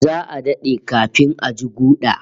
Za'a dade kafin a ji guda